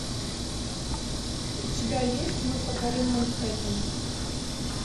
у тебя есть мы покорим манхеттен